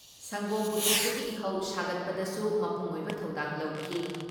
ꯁꯪꯒꯣꯝ ꯄꯨꯊꯣꯛꯄꯒꯤ ꯏꯍꯧ ꯁꯥꯒꯠꯄꯗꯁꯨ ꯃꯄꯨꯡ ꯑꯣꯏꯕ ꯊꯧꯗꯥꯡ ꯂꯧꯈꯤ ꯫